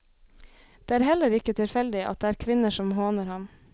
Det er heller ikke tilfeldig at det er kvinner som håner ham.